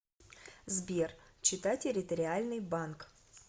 сбер чита территориальный банк